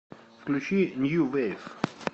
включи нью вейв